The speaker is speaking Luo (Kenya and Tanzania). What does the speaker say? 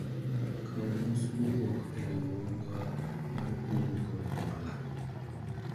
kawu mos mowuok e riwruogwa mar kungo kod hola